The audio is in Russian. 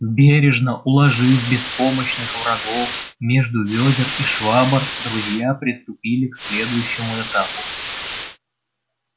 бережно уложив беспомощных врагов между вёдер и швабр друзья приступили к следующему этапу